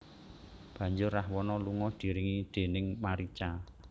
Banjur Rahwana lunga diiringi déning Marica